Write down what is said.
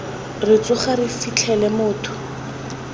re tsoga re fitlhele motho